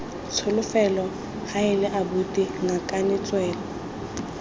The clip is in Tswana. tsholofelo heela abuti ngakane tswela